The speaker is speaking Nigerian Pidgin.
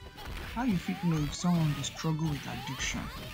how you fit know if someone dey struggle with addiction